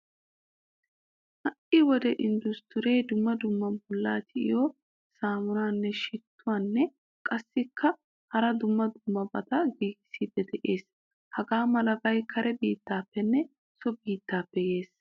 Hai wodiyan industure dumma dumma bollaa tiyettiyo sammuna shituwanne qassi hara dumma dummabata giigisidi de'ees. Hagaamalabay kare biittappenne so biittappe yeesi.